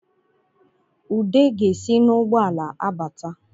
Ude ga-esi n’ụgbọala abata